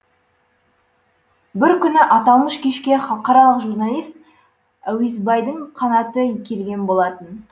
бір күні аталмыш кешке халықаралық журналист әуесбайдың қанаты келген болатын